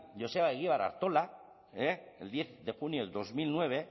joseba egibar artola el diez de junio de dos mil nueve